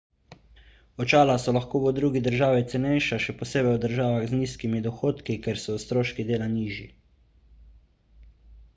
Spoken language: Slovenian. očala so lahko v drugi državi cenejša še posebej v državah z nizkimi dohodki kjer so stroški dela nižji